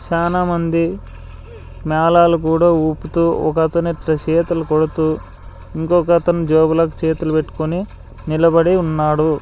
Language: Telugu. చాలామంది మేళాలు కూడా ఊపుతూ ఒకతను ఇట్ట చేతలు కొడుతూ ఇంకొక అతను జేబులో చేతులు పెట్టుకొని నిలబడి ఉన్నాడు.